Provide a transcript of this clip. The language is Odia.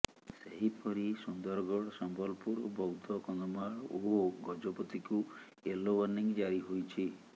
ସେହିପରି ସୁନ୍ଦରଗଡ଼ ସମ୍ବଲପୁର ବୌଦ୍ଧ କନ୍ଧମାଳ ଓ ଗଜପତିକୁ ୟେଲୋ ୱାର୍ଣ୍ଣିଂ ଜାରି ହୋଇଛି